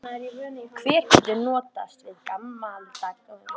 Hver getur notast við gamaldags píanó?